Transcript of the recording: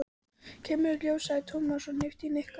Kemur í ljós, sagði Tómas og hnippti í Nikka.